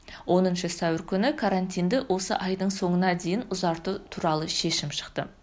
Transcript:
оныншы сәуір күні карантинді осы айдың соңына дейін ұзарту туралы шешім шықты